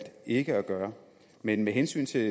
ikke at gøre med hensyn til